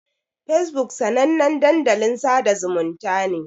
Fesbuk sanannen dandalin sada zumunta ne.